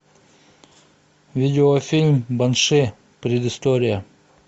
видеофильм банши предыстория